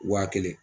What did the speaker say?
Wa kelen